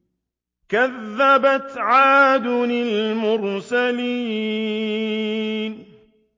كَذَّبَتْ عَادٌ الْمُرْسَلِينَ